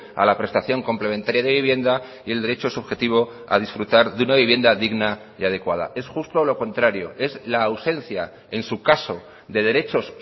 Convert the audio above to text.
a la prestación complementaria de vivienda y el derecho subjetivo a disfrutar de una vivienda digna y adecuada es justo lo contrario es la ausencia en su caso de derechos